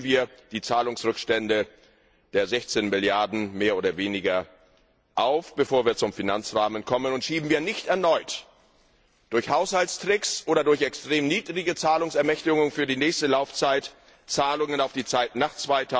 Also lösen wir die Zahlungsrückstände der 16 Milliarden mehr oder weniger auf, bevor wir zum Finanzrahmen kommen, und schieben wir nicht erneut durch Haushaltstricks oder durch extrem niedrige Zahlungsermächtigungen für die nächste Laufzeit Zahlungen auf die Zeit nach